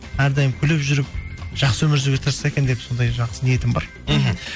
әрдайым күліп жүріп жақсы өмір сүруге тырысса екен деп сондай жақсы ниетім бар мхм